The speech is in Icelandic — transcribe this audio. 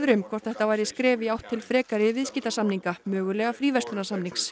um hvort þetta væri skref í átt til frekari viðskiptasamninga mögulega fríverslunarsamnings